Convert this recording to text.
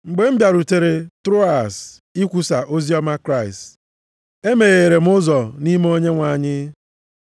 Mgbe m bịarutere Troas ikwusa oziọma Kraịst, e megheere m ụzọ nʼime Onyenwe anyị.